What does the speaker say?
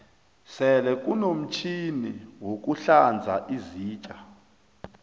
sele kunomtjhini wokuhlanza izitja